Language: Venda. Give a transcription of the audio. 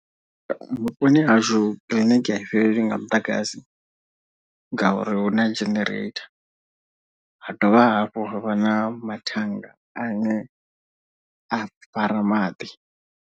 Vhuponi hashu kiḽiniki a i fhelelwi nga muḓagasi ngauri hu na genereitha ha dovha hafhu ha vha na mathannga ane a fara maḓi.